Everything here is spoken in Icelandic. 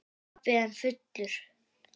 Pabbi enn fullur.